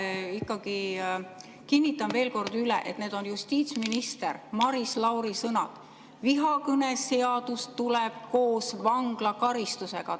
Ma ikkagi kinnitan veel kord üle, et need on justiitsminister Maris Lauri sõnad: vihakõneseadus tuleb koos vanglakaristusega.